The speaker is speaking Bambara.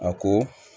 A ko